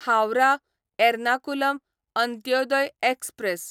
Howrah Ernakulam Antyodaya express